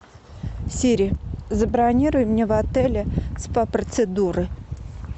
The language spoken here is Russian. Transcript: сири забронируй мне в отеле спа процедуры